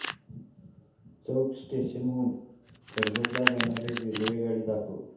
चौक station हून कर्जत ला जाणारी रेल्वेगाडी दाखव